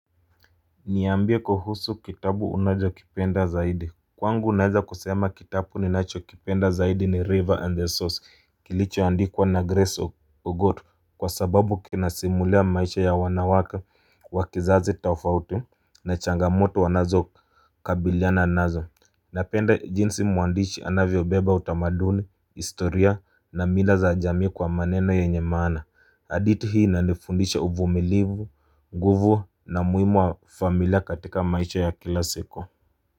Niambie kuhusu kitabu unazokipenda zaidi Kwangu naiza kusema kitabu ni nacho kipenda zaidi ni River and the Source kilicho andikwa na Grace Ugotu kwa sababu kinasimulia maisha ya wanawake wa kizazi tafauti na changamoto wanazo kabiliana nazo Napenda jinsi muandicsi anavyobeba utamaduni, historia na mira za jamii kwa maneno yenye maana hadithi hii inanifundisha uvumilivu, nguvu na muhimu wa familia katika maisha ya kila siku.